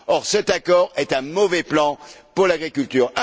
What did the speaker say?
Or cet accord est un mauvais plan pour l'agriculture.